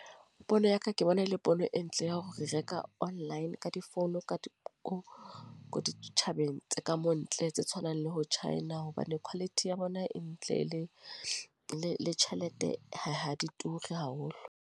Pono ya ka ke bona e le pono e ntle, ya hore re reka online. Ka difounu ka ka ditjhabeng tse ka mo ntle, tse tshwanang le bo China. Hobane quality ya bona e ntle, le le tjhelete ha ha di ture haholo.